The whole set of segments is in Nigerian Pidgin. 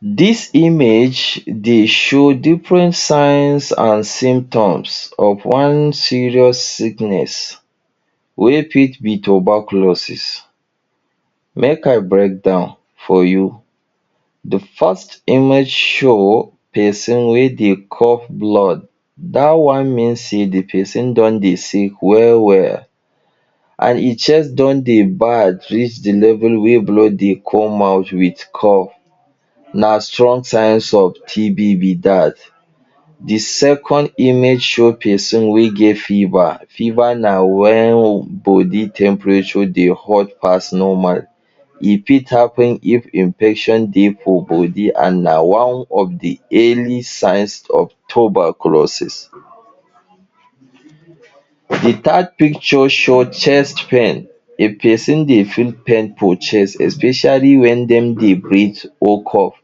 Dis image, dey show different signs and symptoms of one serious sickness wey fit be tuberculosis. Make I breakdown for you. The first image show person wey dey cough blood. Dat one mean sey the person don dey sick well well and e chest don dey bad reach the level wey blood dey come out wit cough. Na strong signs of TB be dat. The second image show person wey get fever. Fever na wen body temperature dey hot pass normal. E fit happen if infection dey for body and na one of the early signs of tuberculosis. The third picture show chest pain. If person dey feel pain for chest especially wen dem dey breath or cough,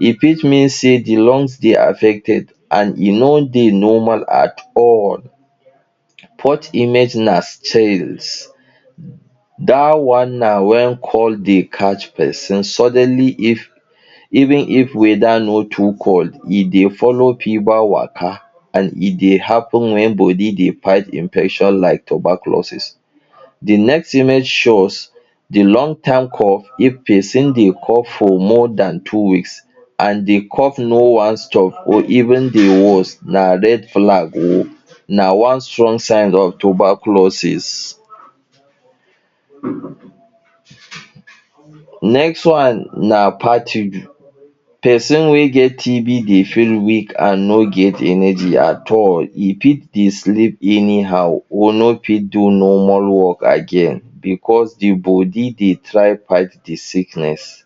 e fit mean say the lungs dey affected and e no dey normal at all. Fourth image na Dat one na wen cold dey catch person suddenly if even if weather no too cold, e dey follow fever waka and e dey happen wen body dey fight infection like tuberculosis. The next image show us the long time cough. If person dey cough for more than two weeks and the cough no wan stop or even dey worse, na red flag oo. Na one strong sign of tuberculosis. Next one na fatigue. Person wey get TB dey feel weak and no get energy at all. E fit dey sleep anyhow, or no fit do normal work again because the body dey try fight the sickness.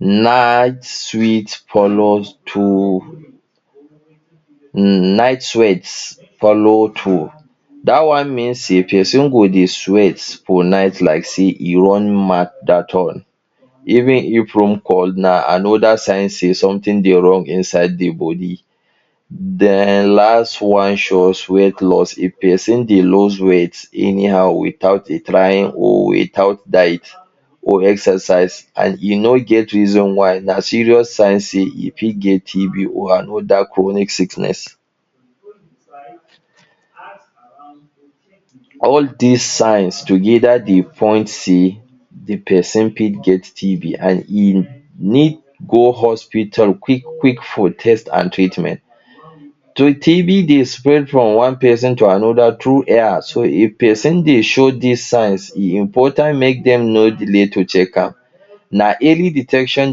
Night sweet follow too. Night sweat follow too. Dat one mean say person go dey sweat for night like say e run marathon, even if room cold. Na another sign say something dey wrong inside the body. Den last one show us weight loss. If person dey lose weight anyhow without im trying or without diet or exercise and e no get reason why, na serious sign say e fit get TB or another chronic sickness. All dis signs together dey point say the person fit get TB and im need go hospital quick quick for test and treatment. So TB dey spread from one person to another through air. So if person dey show dis signs, e important make dem know delay to check am. Na early detection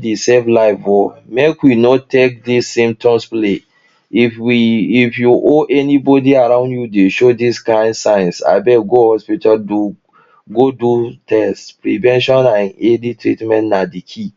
dey save life oo. Make we no take dis symptoms play. If we if you or anybody around you dey show dis kain signs abeg go hospital do, go do test. Prevention and early treatment na the key.